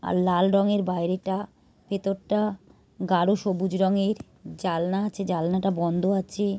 আর লাল রঙের বাইরেটা ভেতরটা গাঢ় সবুজ রঙের। জালনা আছে জালনাটা বন্ধ আছে ।